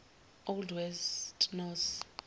old west norse